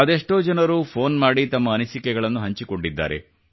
ಅದೆಷ್ಟೋ ಜನರು ಫೋನ್ ಮಾಡಿ ತಮ್ಮ ಅನಿಸಿಕೆಗಳನ್ನು ಹಂಚಿಕೊಂಡಿದ್ದಾರೆ